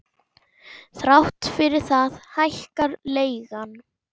Þrátt fyrir það hækkar leigan.